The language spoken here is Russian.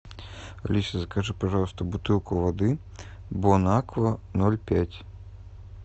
алиса закажи пожалуйста бутылку воды бонаква ноль пять